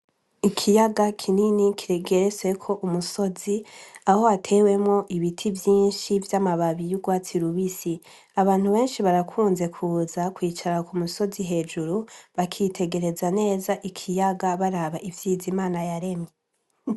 Ikiyaga kinini kigeretseko umusozi, aho hatewemwo ibiti vyinshi vy'amababi y'urwatsi rubisi. Abantu benshi barakunze kuza kwicara ku musozi hejuru, bakitegereza neza ikiyaga baraba ivyiza Imana yaremye.